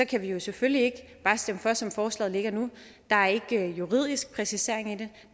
kan vi jo selvfølgelig ikke bare stemme for som forslaget ligger nu der er ikke en juridisk præcisering i det